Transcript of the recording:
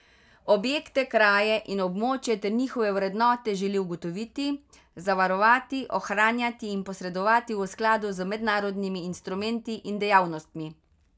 Objekte, kraje in območja ter njihove vrednote želi ugotoviti, zavarovati, ohranjati in posredovati v skladu z mednarodnimi instrumenti in dejavnostmi.